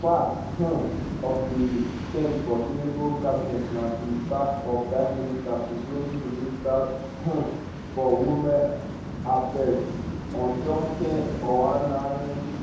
part um of di change for tinubu cabinet na di sack of five ministers including di minister um for women affairs ujuken ohanenye